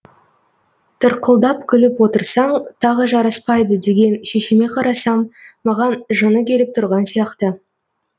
тырқылдап күліп отырсаң тағы жараспайды деген шешеме қарасам маған жыны келіп тұрған сияқты